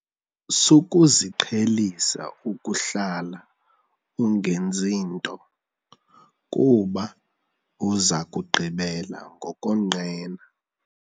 Sukuziqhelisa ukuhlala ungenzi nto kuba uza kugqibela ngokonqena.